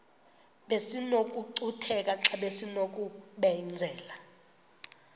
besinokucutheka xa besinokubenzela